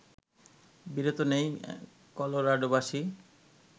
বিরত নেই কলোরাডোবাসী